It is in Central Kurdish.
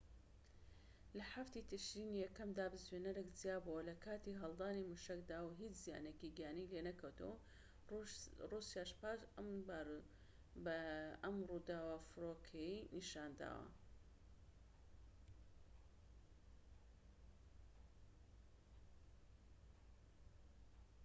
لە ٧ ی تشرینی یەکەمدا بزوێنەرێك جیا بۆوە لە کاتی هەڵدانی موشەکەدا و هیچ زیانێکی گیانی لێ نەکەوتەوە. رووسیا پاش ئەم ڕووداوە فڕۆکەی il-76s ی نیشتاندەوە